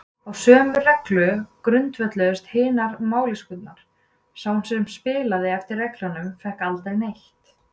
Á sömu reglu grundvölluðust hinar maskínurnar: sá sem spilaði eftir reglunum fékk aldrei neitt.